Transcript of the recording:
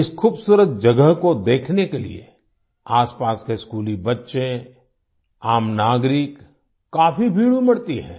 इस खूबसूरत जगह को देखने के लिए आसपास के स्कूली बच्चे आम नागरिक काफी भीड़ उमड़ती है